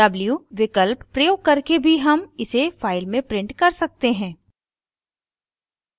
w विकल्प प्रयोग करके भी हम इसे फाइल में प्रिंट कर सकते हैं